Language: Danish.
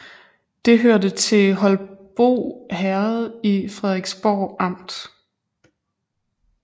Det hørte til Holbo Herred i Frederiksborg Amt